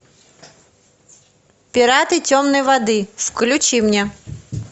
пираты темной воды включи мне